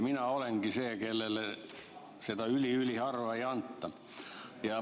Mina olengi see, kellele seda üli-üliharva ei antud.